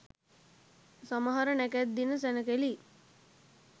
සමහර නැකැත් දින සැණකෙළි